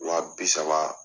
Wa bi saba